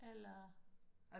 Eller